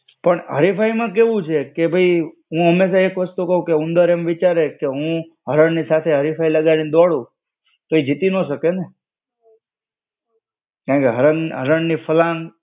પણ હરીફાઈમાં કેવું છે કે ભઈ, હું હંમેશા એક વસ્તુ કવ કે ઉંદર એમ વિચારે કે હું હરણની સાથે હરીફાઈ લગાડીને દોડું, તો એ જીતી નો શકે ને. કારણકે હરણ હરણની ફલાંગ